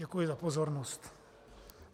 Děkuji za pozornost.